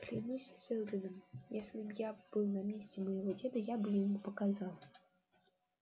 клянусь сэлдоном если б я был на месте моего деда я бы ему показал